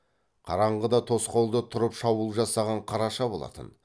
қараңғыда тосқауылда тұрып шабуыл жасаған қараша болатын